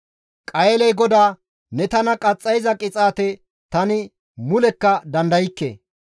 Qayeeley GODAA, «Ne tana qaxxayiza qixaate tani mulekka dandaykke.